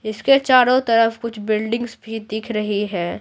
इसके चारों तरफ कुछ बिल्डिंग्स भी दिख रही है।